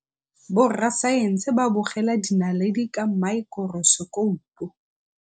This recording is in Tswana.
Borra saense ba bogela dinaledi ka maekorosekopo.